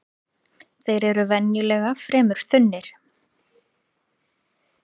Þeir eru venjulega fremur þunnir